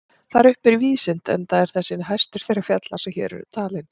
Þar uppi er víðsýnt enda er þessi hæstur þeirra fjalla sem hér eru talin.